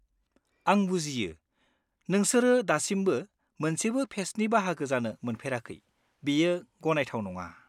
आं बुजियो, नोंसोरो दासिमबो मोनसेबो फेस्टनि बाहागो जानो मोनफेराखै बेयो गनायथाव नङा।